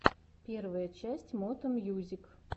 первая часть мото мьюзик